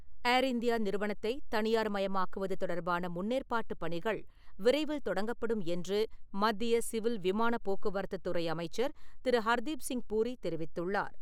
ஏர் India நிறுவனத்தை தனியார் மயமாக்குவது தொடர்பான முன்னேற்பாட்டு பணிகள் விரைவில் தொடங்கப்படும் என்று, மத்திய சிவில் விமான போக்குவரத்துத் துறை அமைச்சர் திரு. ஹர்தீப்சிங் பூரி தெரிவித்துள்ளார்.